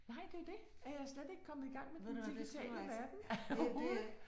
Nej det jo det er jeg slet ikke kommet i gang med den digitale verden overhovedet